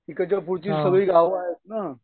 तिकडच्या पुढची सगळी गाव आहेत ना.